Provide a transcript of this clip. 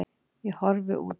Ég horfi út.